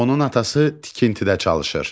Onun atası tikintidə çalışır.